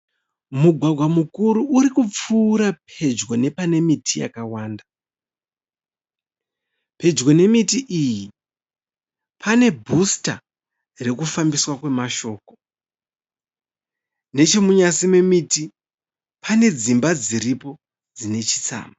Mugwagwa mukuru uri kupfuura pedyo nepane miti yakawanda. Pedyo nemiti iyi pane bhusita rokufambiswa kwemashoko. Nechemunyasi memiti pane dzimba dziripo dzine chitsama.